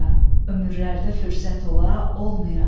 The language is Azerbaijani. Ömürlərdə fürsət ola olmaya.